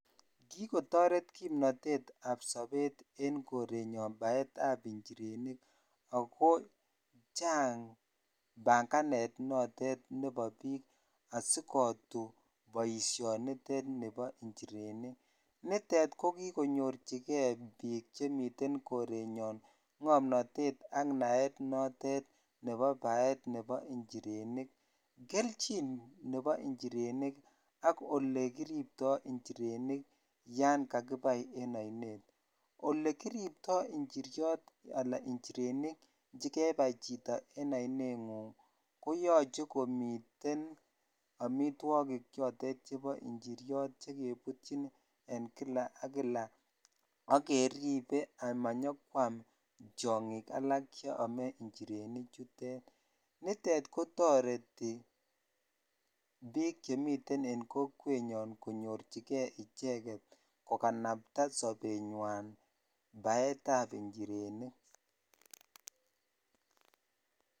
Kikotoret kimnotetab sobet en korenyon baetab njirenik ak ko chang bang'anet noton nebo biik asikotu boishonitet nebo njirenik, nitet ko kikonyorchike biik chemiten korenyon ng'omnotet ak naet notet nebo baet nebo njirenik, kelchin nebo njirenik ak olekiripto njirenik yoon kakibai en oinet, olekiripto njiriot alaa njirenik chekebai chito en oineng'ung koyoche komiten amitwokik chotet chebo njiriot chotet chekebutyin en kila ak kila ak keribe amanyokwam tiong'ik alak cheome njireni chutet, nitet kotoreti biik chemiten en kokwenyun konyorchike icheket kokanabta sobenywan baetab njirenik.